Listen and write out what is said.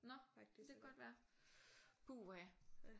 Nå men det kan godt være puha